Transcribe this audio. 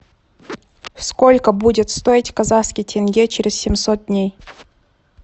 сколько будет стоить казахский тенге через семьсот дней